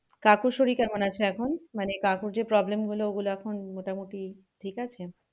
কাকুর শরীর কেমন আছে এখন? মানে কাকুর যে problem গুলো ও গুলো এখন মোটামুটি ঠিক আছে?